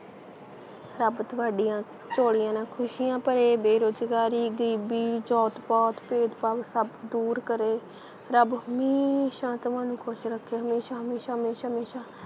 ਰੱਬ ਤੁਹਾਡੀਆਂ ਝੋਲੀਆਂ ਨਾਲ ਖੁਸ਼ੀਆਂ ਭਰੇ ਬੇਰੁਜ਼ਗਾਰੀ ਗਰੀਬੀ ਜਾਤ ਪਾਤ ਭੇਦ ਭਾਵ ਸਭ ਦੂਰ ਕਰੇ ਰੱਬ ਹਮੇਸ਼ਾ ਤੁਹਾਨੂੰ ਖੁਸ਼ ਰੱਖੇ ਹਮੇਸ਼ਾ ਹਮੇਸ਼ਾ ਹਮੇਸ਼ਾ ਹਮੇਸ਼ਾ